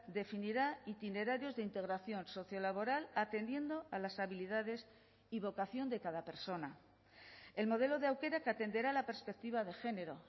definirá itinerarios de integración sociolaboral atendiendo a las habilidades y vocación de cada persona el modelo de aukerak que atenderá a la perspectiva de género